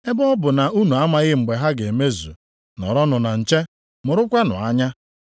Ebe ọ bụ na unu amaghị mgbe ha ga-emezu, nọrọnụ na nche! Mụrụkwanụ anya! + 13:33 Akwụkwọ ndị ochie na-edenye, na-ekpe ekpere.